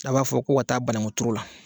A b'a fɔ ko ka taa banankun turu la